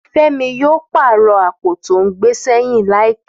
Fẹ́mi yóò pàrọ̀ àpò tó ń gbé sẹ́yìn láìpẹ́